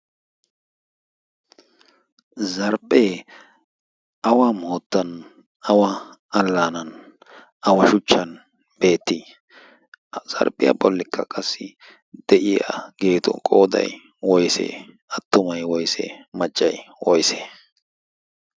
Zarphphee awa moottan, awa allaanan, awa shuchchan beetti? Ha zarphphiya bollikka qassi de"iyaageetu qooday woyisee attumay woysee maccay woyisee?